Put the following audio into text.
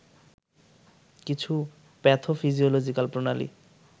কিছু প্যাথোফিজিওলজিক্যাল প্রণালী